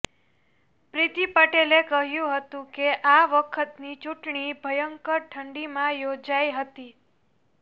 પ્રિતિ પટેલે કહ્યું હતું કે આ વખતની ચૂંટણી ભયંકર ઠંડીમાં યોજાઇ હતી